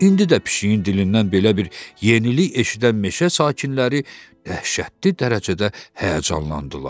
İndi də pişiyin dilindən belə bir yenilik eşidən meşə sakinləri dəhşətli dərəcədə həyəcanlandılar.